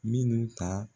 Minnu ka